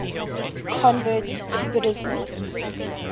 converts to buddhism